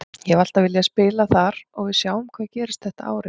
Ég hef alltaf viljað spila þar og við sjáum hvað gerist þetta árið.